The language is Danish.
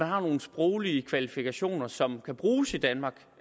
har nogle sproglige kvalifikationer som kan bruges i danmark